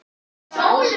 Þetta varð að gerast.